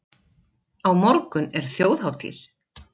Á morgun er þjóðhátíð.